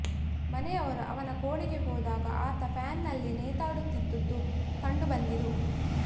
ಮನೆಯವರು ಅವನ ಕೋಣೆಗೆ ಹೋದಾಗ ಆತ ಫ್ಯಾನ್ನಲಿ ನೇತಾಡುತ್ತಿದ್ದುದು ಕಂಡು ಬಂದಿತ್ತು